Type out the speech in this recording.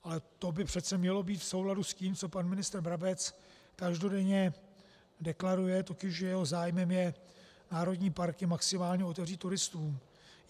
Ale to by přece mělo být v souladu s tím, co pan ministr Brabec každodenně deklaruje, totiž že jeho zájmem je národní parky maximálně otevřít turistům.